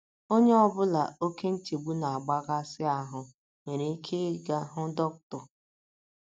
Onye ọ bụla oké nchegbu na - akpaghasị ahụ́ nwere ike ịga hụ dọkịta.